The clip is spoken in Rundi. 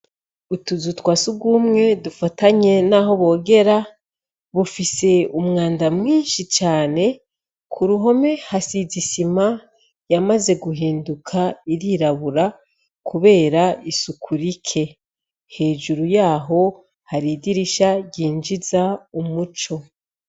Utuzu twasi rwumwe dufatanye, naho bogera bufise umwanda mwinshi cane ku ruhome hasizisima yamaze guhinduka irirabura, kubera isuku rike hejuru yaho hari idirisha ryinjiza umuco.